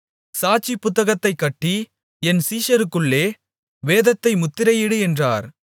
சாட்சி புத்தகத்தைக் கட்டி என் சீஷருக்குள்ளே வேதத்தை முத்திரையிடு என்றார்